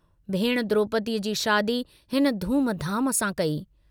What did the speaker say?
भेणु द्रोपदीअ जी शादी हिन धूमधाम सां कई।